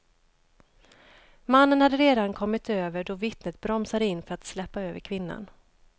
Mannen hade redan kommit över då vittnet bromsade in för att släppa över kvinnan.